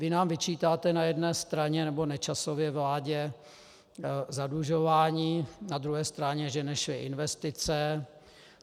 Vy nám vyčítáte na jedné straně, nebo Nečasově vládě, zadlužování, na druhé straně, že nešly investice.